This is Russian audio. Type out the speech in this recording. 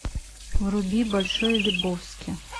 вруби большой лебовски